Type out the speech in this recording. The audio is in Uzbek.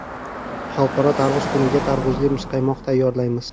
Xalqaro tarvuz kuniga tarvuzli muzqaymoq tayyorlaymiz.